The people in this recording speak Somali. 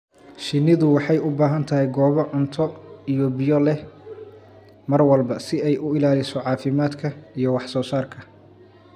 Shinnidu waxay u baahan tahay goobo cunto iyo biyo leh mar walba si ay u ilaaliso caafimaadka iyo wax soo saarka.